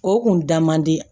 O kun da man di